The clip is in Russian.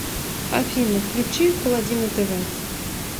афина включи колодина тэ вэ